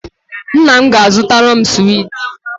Nna m ga-zụtara m suweti